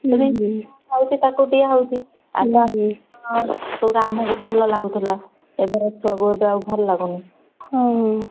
ତାକୁ ଦିଆ ହଉଛି ସେଗୁଡା ଆମକୁ ଭଲ ଲାଗୁଥିଲା। ଏବେର ଛୁଆଙ୍କୁ ଆଉ ଭଲ ଲାଗୁନି।